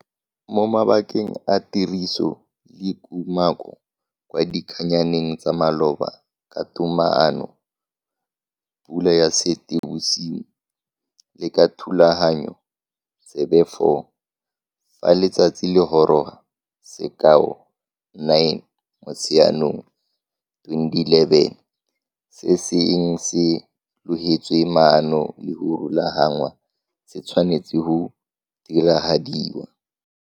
Mo mabakeng a tiriso le kumako kwa dikgannyaneng tsa maloba ka togamaano Pula ya Seetibosigo le ka thulaganyo tsebe 4, fa letsatsi le goroga, sekao 9 Motsheganong 2011, se se eng se logetswe maano le go rulaganngwa se tshwanetse go diragadiwa.